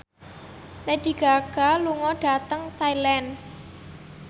Lady Gaga lunga dhateng Thailand